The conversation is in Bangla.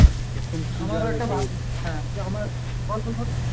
হ্যাঁ আমার বল বল